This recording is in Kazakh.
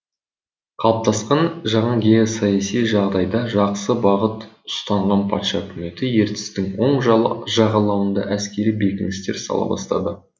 қалыптасқан жаңа геосаяси жағдайда жақсы бағыт ұстанған патша үкіметі ертістің оң жағалауында әскери бекіністер сала бастады